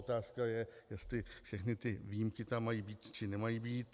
Otázka je, jestli všechny ty výjimky tam mají být, či nemají být.